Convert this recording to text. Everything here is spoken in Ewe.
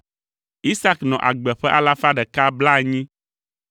Isak nɔ agbe ƒe alafa ɖeka blaenyi (180).